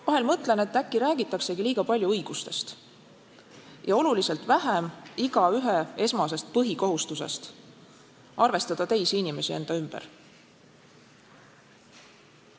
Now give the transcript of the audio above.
Vahel mõtlen, et äkki räägitaksegi liiga palju õigustest ja oluliselt vähem igaühe esmasest põhikohustusest: arvestada teisi inimesi enda ümber.